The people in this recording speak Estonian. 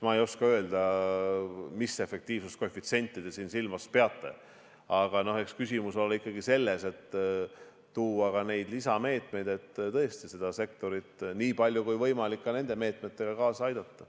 Ma ei oska öelda, mis efektiivsuskoefitsienti te siin silmas peate, aga eks küsimus ole ikkagi selles, et luua lisameetmeid, et tõesti seda sektorit niipalju kui võimalik ka nende meetmetega aidata.